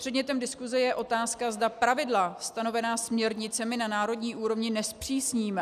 Předmětem diskuse je otázka, zda pravidla stanovená směrnicemi na národní úrovni nezpřísníme.